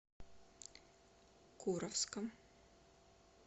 куровском